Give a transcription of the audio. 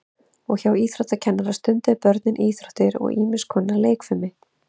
og hjá íþróttakennara stunduðu börnin íþróttir og ýmis konar leikfimi